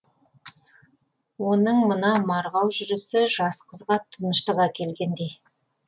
оның мына марғау жүрісі жас қызға тыныштық әкелгендей